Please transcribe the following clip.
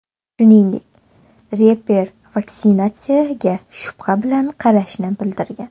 Shuningdek, reper vaksinatsiyaga shubha bilan qarashini bildirgan.